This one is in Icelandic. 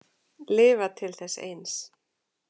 Lifa til þess eins.